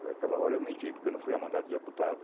Naquela hora eu menti, porque eu não fui a mandado de deputado.